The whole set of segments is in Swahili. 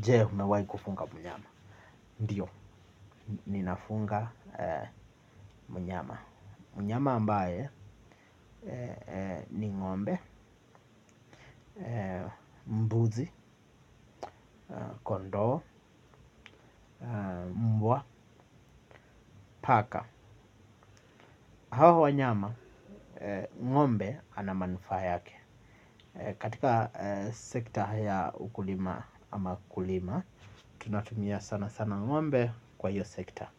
Jee, umewai kufuga mnyama. Ndiyo, ninafunga mnyama. Mnyama ambaye ni ng'ombe, mbuzi, kondoo, mbwa, paka. Hawa wanyama, ng'ombe ana manufaa yake. Katika sekta ya ukulima ama kulima, tunatumia sana sana ngombe kwa hiyo sekta.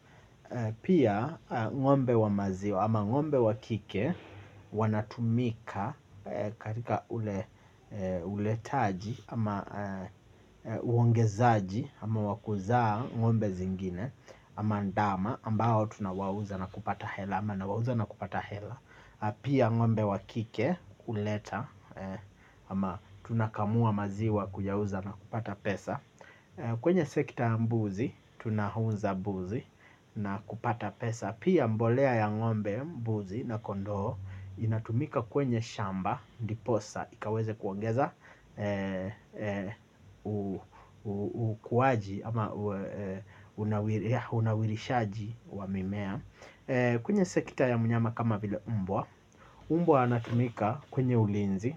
Pia ng'ombe wa maziwa ama ng'ombe wa kike wanatumika katika uletaji ama uongezaji ama wakuzaa ng'ombe zingine ama ndama ambao tunawauza na kupata hela ama nawauza na kupata hela. Pia ng'ombe wakike kuleta ama tunakamua maziwa kuyauza na kupata pesa. Kwenye sekta ya mbuzi tunahunza mbuzi na kupata pesa. Pia mbolea ya ng'ombe mbuzi na kondoo. Inatumika kwenye shamba. Ndiposa ikaweze kuongeza ukuwaji ama unawirishaji wa mimea. Kwenye sekta ya mnyama kama vile mbwa, umbwa anatumika kwenye ulinzi,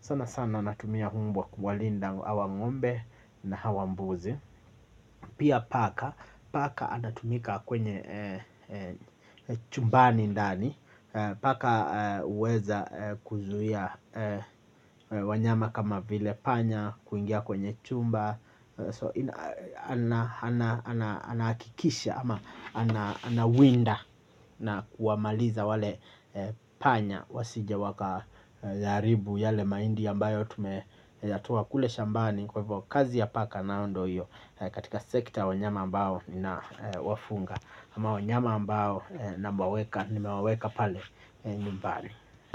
sana sana natumia umbwa kuwalinda awa ng'ombe na hawa mbuzi. Pia paka, paka anatumika kwenye chumbani ndani, paka uweza kuzuia wanyama kama vile panya, kuingia kwenye chumba so anaakikisha ama anawinda na kuwamaliza wale panya wasije waka yaaribu yale maindi ambayo tumeyatoa kule shambani kwa hivyo kazi ya paka nao ndo hiyo katika sekta wanyama ambao nawafunga ama wanyama ambao nimewaweka pale nyumbani.